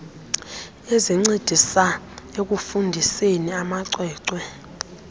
ezincedisa ekufundiseni amacwecwe